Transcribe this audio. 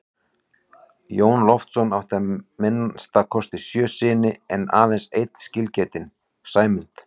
Jón Loftsson átti að minnsta kosti sjö syni en aðeins einn skilgetinn, Sæmund.